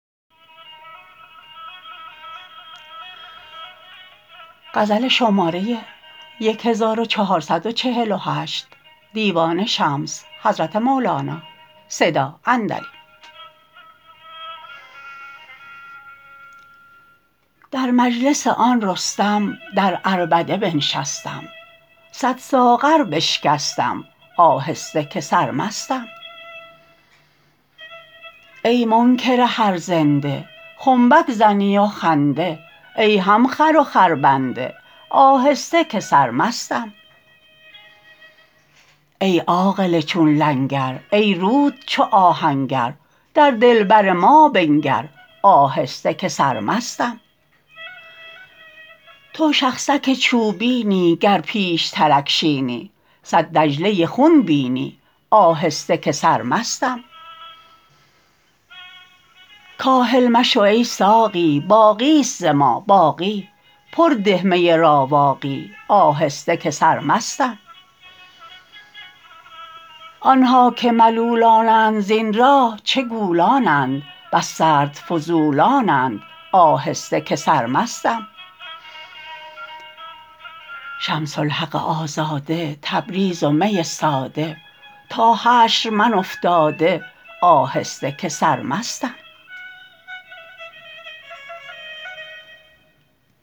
در مجلس آن رستم در عربده بنشستم صد ساغر بشکستم آهسته که سرمستم ای منکر هر زنده خنبک زنی و خنده ای هم خر و خربنده آهسته که سرمستم ای عاقل چون لنگر ای روت چو آهنگر در دلبر ما بنگر آهسته که سرمستم تو شخصک چوبینی گر پیشترک شینی صد دجله خون بینی آهسته که سرمستم کاهل مشو ای ساقی باقی است ز ما باقی پر ده می راواقی آهسته که سرمستم آن ها که ملولانند زین راه چه گولانند بس سرد فضولانند آهسته که سرمستم شمس الحق آزاده تبریز و می ساده تا حشر من افتاده آهسته که سرمستم